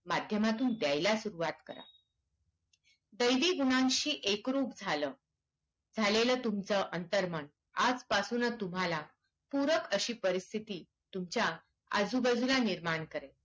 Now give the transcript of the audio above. माध्यमातून द्यायला सुरुवात करा कैदी गुन्ह्याशी एकरूप झालं झालेलं तुमचं अंतर्मन आजपासूनच तुम्हाला पूरक अशी परिस्थिति तुमच्या आजूबाजूला निर्माण करेल